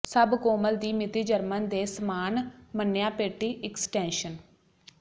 ਸਭ ਕੋਮਲ ਦੀ ਮਿਤੀ ਜਰਮਨ ਦੇ ਸਾਮਾਨ ਮੰਨਿਆ ਪੇਟੀ ਇਕਸਟੈਨਸ਼ਨ